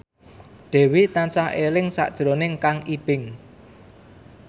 Dewi tansah eling sakjroning Kang Ibing